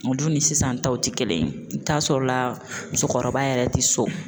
Olu ni sisan taw ti kelen ye i bɛ t'a sɔrɔ la musokɔrɔba yɛrɛ ti so